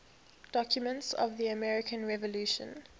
documents of the american revolution